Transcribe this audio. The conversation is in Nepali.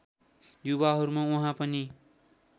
युवाहरूमा उहाँ पनि